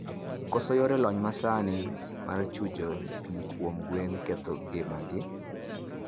Koso yore lony manasani mar chujo pii kuom gwen ketho ngima gi